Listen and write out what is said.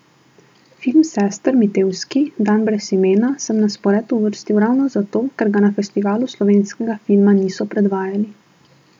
Film sester Mitevski, Dan brez imena, sem na spored uvrstil ravno zato, ker ga na Festivalu slovenskega filma niso predvajali.